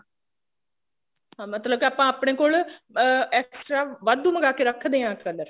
ਹਾਂ ਮਤਲਬ ਕੇ ਆਪਾਂ ਆਪਣੇ ਕੋਲ ਅਹ extra ਵਾਧੂ ਮੰਗਾ ਕੇ ਰੱਖਦੇ ਆ color